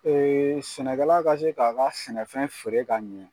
sɛnɛkɛla ka se k'a ka sɛnɛfɛn feere ka ɲɛ